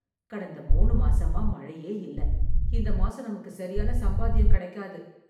கடந்த மூணு மாசமா மழையே இல்ல. இந்த மாசம் நமக்கு சரியான சம்பாத்தியம் கிடைக்காது.